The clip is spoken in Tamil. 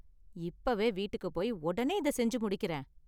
இப்பவே வீட்டுக்கு போய் ஒடனே இத செஞ்சு முடிக்கறேன்.